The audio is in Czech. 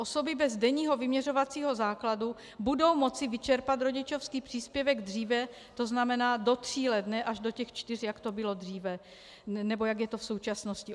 Osoby bez denního vyměřovacího základu budou moci vyčerpat rodičovský příspěvek dříve, to znamená do tří let, ne až do těch čtyř, jak to bylo dříve, nebo jak je to v současnosti.